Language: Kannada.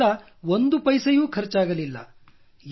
ನನ್ನಿಂದ ಒಂದು ಪೈಸೆಯೂ ಖರ್ಚಾಗಲಿಲ್ಲ